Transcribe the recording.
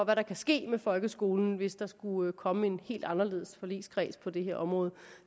hvad der kan ske med folkeskolen hvis der skulle komme en helt anderledes forligskreds på det her område